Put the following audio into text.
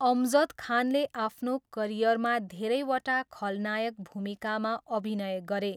अमजद खानले आफ्नो करियरमा धेरैवटा खलनायक भूमिकामा अभिनय गरे।